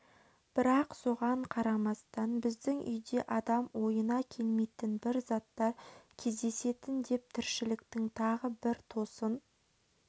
бірақ соған қарамастан біздің үйде адам ойына келмейтін бір заттар кездесетін деп тіршіліктің тағы бір тосын